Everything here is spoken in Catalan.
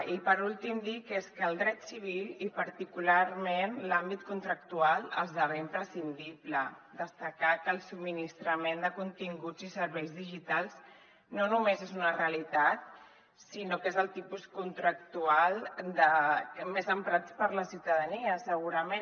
i per últim dir que és que el dret civil i particularment en l’àmbit contractual esdevé imprescindible destacar que el subministrament de continguts i serveis digitals no només és una realitat sinó que és el tipus contractual més emprat per la ciutadania segurament